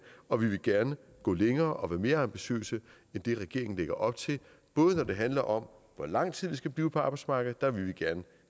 og vi vil gerne gå længere og være mere ambitiøse end det regeringen lægger op til både når det handler om hvor lang tid vi skal blive på arbejdsmarkedet der vil vi gerne